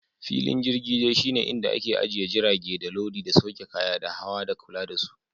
Filin jirgin dai shi ne inda ake ajiye jirage, da lodi, da sauke kaya, da hawa, da kula da su.